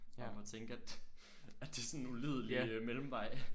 Frem for at tænke at at det er sådan en ulidelig mellemvej